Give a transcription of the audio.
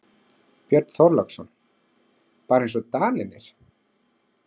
Björn Þorláksson: Bara eins og Danirnir?